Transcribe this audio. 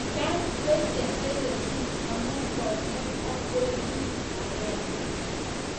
Genk ko cheletyin amun konget ak pointit agenge.